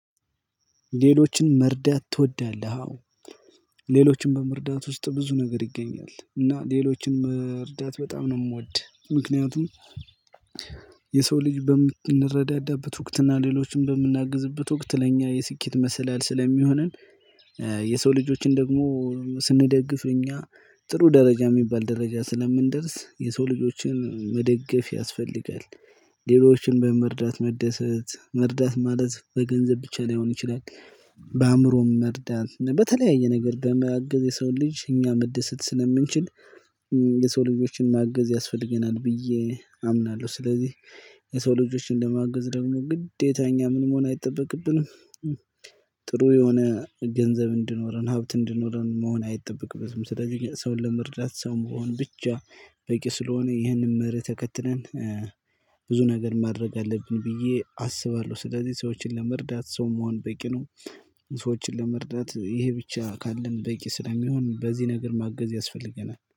ሌሎችን መርዳት ትወዳለህ? አዎ ሌሎችን በመርዳት ውስጥ ብዙ ነገር ይገኛል እና ሌሎችን ሌሎችንም እርዳታ በጣም ነው የምወድ። ምክንያቱም የሰው ልጅ በምንረዳዳበት ወቅት እና ሌሎችን በምናግዝበት ወቅት ለእኛ የስኬት መሰላል ስለሚሆነን። የሰው ልጆችን ደግሞ ስንደግፍ እኛ ጥሩ ደረጃ የሚባል ደረጃ ስለምንደርስ የሰው ልጆችን መደገፍ ያስፈልጋል። ሌሎችን በመርዳት መደሰት መርዳት ማለት በገንዘብ ብቻ ላይሆን ይችላል። በአእምሮም መርዳት በተለያየ ነገር በማገዝ የሰው ልጅ እኛ መደሰት ስለምንችል። ልጆችን ማገዝ ያስፈልገናል ብዬ አምናለሁ። ስለዚህ የሰው ልጆችን ለማገዝ ደግሞ ግዴታ እኛ ምን መሆን አይጠበቅብንም። ጥሩ የሆነ ገንዘብ እንድኖረን ሀብት እንድኖረን መሆን አይጠበቅበትም። ስለዚህ ሰውን ለመርዳት ሰው መሆን ብቻ በቂ ስለሆነ። ይህንን መርህ ተከትለን ብዙ ነገር ማድረግ አለብን ብዬ አስባለሁ። ስለዚህ ሰዎችን ለመርዳት ሰው መሆን በቂ ነው። ሰዎችን ለመርዳት ይሄ ብቻ ካለን በቂ ስለሚሆን በዚህ ነገር ማገዝ ያስፈልገናል